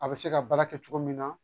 A bɛ se ka baara kɛ cogo min na